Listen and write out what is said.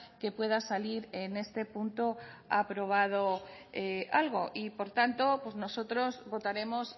que pueda salir en este punto aprobado algo y por tanto nosotros votaremos